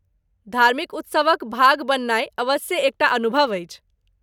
धार्मिक उत्सवक भाग बननाइ अबस्से एक टा अनुभव अछि।